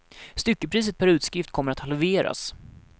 Styckepriset per utskrift kommer att halveras.